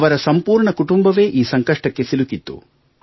ಅವರ ಸಂಪೂರ್ಣ ಕುಟುಂಬವೇ ಈ ಸಂಕಷ್ಟಕ್ಕೆ ಸಿಲುಕಿತ್ತು